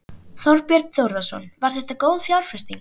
Þorbjörn Þórðarson: Var þetta góð fjárfesting?